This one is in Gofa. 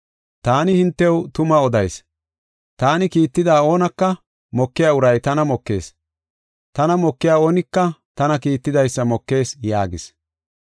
Taani hintew tuma odayis; taani kiitida oonaka mokiya uray tana mokees. Tana mokiya oonika tana kiittidaysa mokees” yaagis.